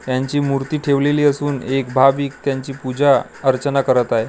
यांची मूर्ती ठेवलेली असून एक भाविक त्यांची पूजा अर्चना करत आहे.